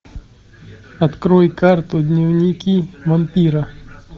открой карту дневники вампира